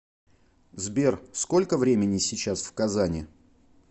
сбер сколько времени сейчас в казани